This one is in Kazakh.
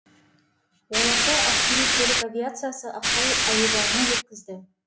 оларды әскери көлік авиациясы ақтау әуежайына жеткізді